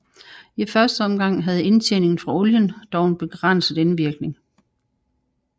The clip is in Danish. I første omgang havde indtjeningen fra olien dog en begrænset indvirkning